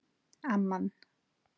Amman